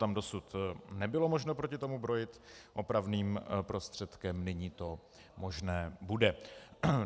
Tam dosud nebylo možno proti tomu brojit opravným prostředkem, nyní to možné bude.